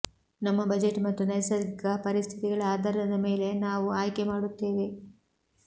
ನಮ್ಮ ಬಜೆಟ್ ಮತ್ತು ನೈಸರ್ಗಿಕ ಪರಿಸ್ಥಿತಿಗಳ ಆಧಾರದ ಮೇಲೆ ನಾವು ಆಯ್ಕೆ ಮಾಡುತ್ತೇವೆ